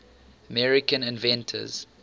american inventors